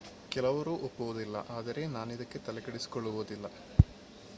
ಕೆಲವರು ಒಪ್ಪುವುದಿಲ್ಲ ಆದರೆ ನಾನಿದಕ್ಕೆ ತಲೆಕೆಡಿಸಿಕೊಳ್ಳುವುದಿಲ್ಲ